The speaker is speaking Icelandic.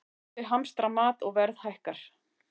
Þjóðir hamstra mat og verð hækkar